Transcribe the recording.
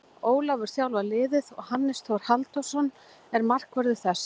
Ólafur þjálfar liðið og Hannes Þór Halldórsson er markvörður þess.